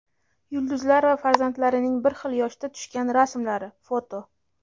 Yulduzlar va farzandlarining bir xil yoshda tushgan rasmlari (foto).